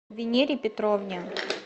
венере петровне